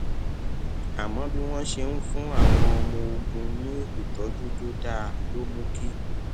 àmó bí wón ṣe ń fún àwọn ọmọ ogun ní ìtójú tó dáa ló mú kí